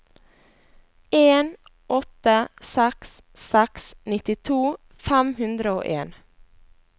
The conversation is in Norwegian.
en åtte seks seks nittito fem hundre og en